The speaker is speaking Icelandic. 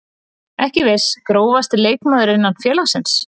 Ekki viss Grófasti leikmaður innan félagsins?